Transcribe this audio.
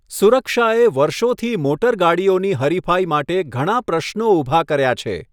સુરક્ષાએ વર્ષોથી મોટરગાડીઓની હરીફાઈ માટે ઘણા પ્રશ્નો ઊભા કર્યા છે.